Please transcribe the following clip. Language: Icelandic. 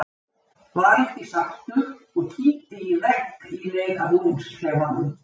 Var ekki sáttur og kýldi í vegg í leið að búningsklefanum.